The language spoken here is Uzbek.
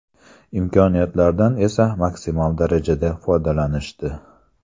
Imkoniyatlardan esa maksimum darajada foydalanishdi.